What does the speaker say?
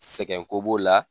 Sɛkɛn ko b'o la